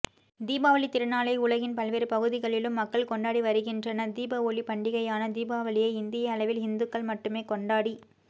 தீபாவளி திருநாளை உலகின் பல்வேறு பகுதிகளிலும் மக்கள் கொண்டாடிவருகின்றனதீப ஒளி பண்டிகையான தீபாவளியை இந்திய அளவில் ஹிந்துக்கள் மட்டுமே கொண்டாடி